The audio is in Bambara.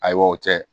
Ayiwa o tɛ